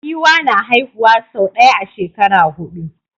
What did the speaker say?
Giwa na haihuwa sau ɗaya a shekara hudu